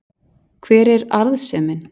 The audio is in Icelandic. hver er arðsemin